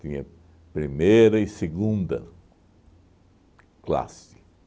Tinha primeira e segunda classe.